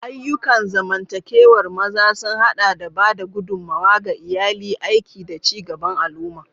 Ayyukan zamantakewar maza sun haɗa da ba da gudummawa ga iyali, aiki, da ci gaban al'umma.